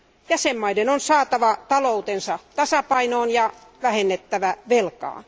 Jäsenvaltioiden on saatava taloutensa tasapainoon ja vähennettävä velkaa.